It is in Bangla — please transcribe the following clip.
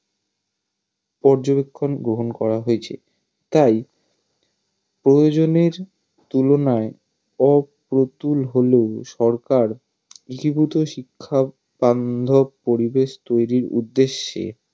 পর্যবেক্ষণ গ্রহন করা হয়েছে তাই প্রয়োজনের তুলনায় অপ্রতুল হলে সরকার একীভূত শিক্ষার বান্ধব পরিবেশ তৈরির উদ্দেশ্যে